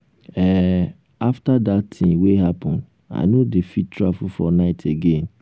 um after dat thing wey happen i no dey fit travel for night again